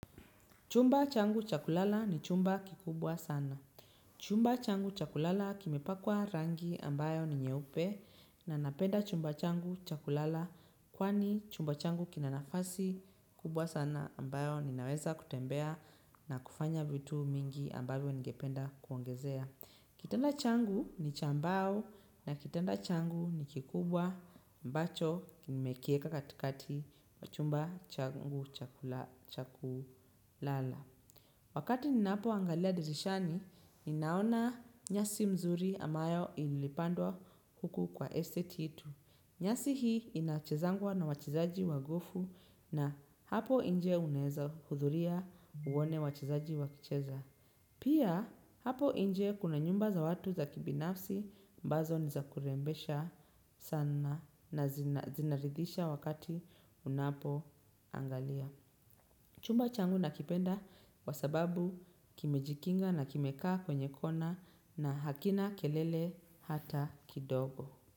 Chumba changu chakulala ni chumba kikubwa sana. Chumba changu cha kulala kimepakwa rangi ambayo ni nyeupe na napenda chumba changu cha kulala kwani chumba changu kina nafasi kubwa sana ambayo ninaweza kutembea na kufanya vitu mingi ambayo ningependa kuongezea. Kitanda changu ni cha mbao na kitanda changu ni kikubwa ambacho nimekieka katikati wa chumba changu cha kulala. Wakati ninapoangalia dirishani, ninaona nyasi mzuri ambayo ilipandwa huku kwa estate yetu. Nyasi hii inachezangwa na wachezaji wa golfu na hapo nje unaeza hudhuria uone wachezaji wakicheza. Pia hapo inje kuna nyumba za watu za kibinafsi ambazo ni za kurembesha sana na zinaridhisha wakati unapoangalia. Chumba changu nakipenda kwa sababu kimejikinga na kimekaa kwenye kona na hakina kelele hata kidogo.